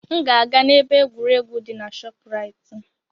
M ga-aga na ebe egwuregwu di na ShopRite.